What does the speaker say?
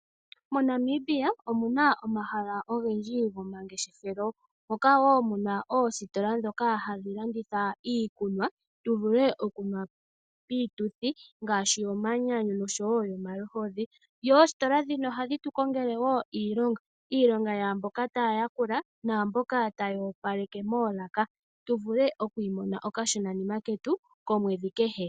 MoNamibia omu na omahala ogendji guunangeshefelo ngoka wo muna oostola ndhoka hadhi landitha iikunwa tu vule oku nwa piituthi ngaashi yomanyanyu noshowo yomaluhodhi. Oostola ndhino ohadhi tu kongele wo iilonga, iilongo ya mboka taya ya kula na amboka taya opaleke moolaka tu vule okwi imonena okashonanima ketu komwedhi kehe.